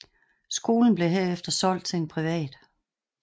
Skolen blev herefter solgt til en privat